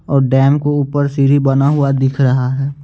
और डैम को ऊपर सीढ़ी बना हुआ दिख रहा है।